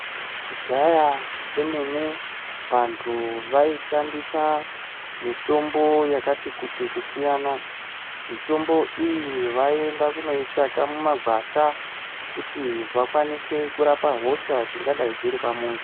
Kudhaya kwemene vantu vai shandisa mitombo yakati kuti kusiyana mitombo iyi vai enda kunoi tsvaka mu magwasha kuti vakwanise kurapa hosha dzingadai dziri pa muntu.